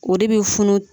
O de bi funu